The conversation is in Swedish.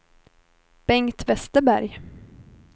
Bengt Vesterberg